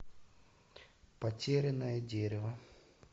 потерянное дерево